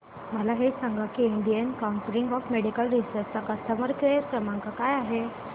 मला हे सांग की Indian council of medical research चा कस्टमर केअर क्रमांक काय आहे